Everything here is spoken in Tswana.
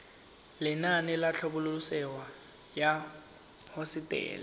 lenaane la tlhabololosewa ya hosetele